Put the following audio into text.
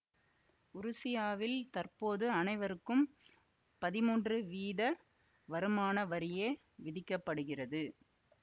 உருசியாவில் தற்போது அனைவருக்கும் பதிமூன்று வீத வருமான வரியே விதிக்க படுகிறது